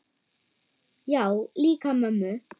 Já, líka mömmu